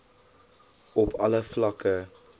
op alle vlakke